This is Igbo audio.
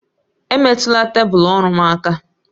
Emetụla tebụl ọrụ m aka!